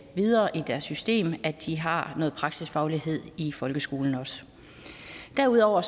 videre i systemet at de har noget praksisfaglighed i folkeskolen også derudover